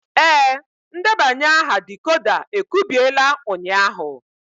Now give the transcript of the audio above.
Ee, ndebanye aha decoder e kubiela ụnyahụ.